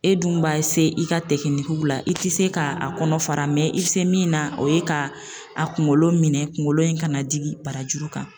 E dun b'a i ka la, i tɛ se k'a kɔnɔ fara i bɛ se min na o ye ka a kunkolo minɛ kungolo in ka na jigin barajuru kan.